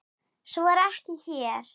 Svo er ekki hér.